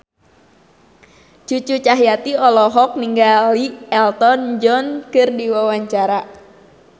Cucu Cahyati olohok ningali Elton John keur diwawancara